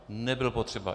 Nebyl potřeba.